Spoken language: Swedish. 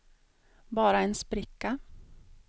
bara en spricka